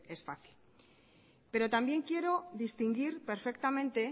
es fácil pero también quiero distinguir perfectamente